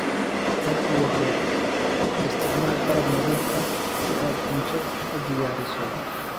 Had iyo jeer isticmaal qalab nadiif ah si aad cunto u diyaariso.